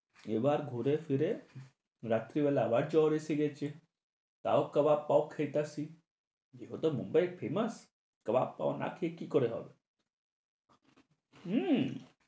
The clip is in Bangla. এবার ঘুরেফিরে রাত্রিবেলা আবার জ্বর এসে গেছে। তাও কাবার পাও খাইতাছি। এটাতো মুম্বাই famous, কাবাব পাও না খেয়ে কি করে হবে? হু